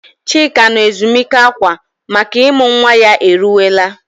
Chika nọ ezumike akwa makana ịmụ nwa ya eruwela.